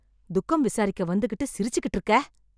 துக்கம் விசாரிக்க வந்துகிட்டு சிரிச்சுகிட்டு இருக்க?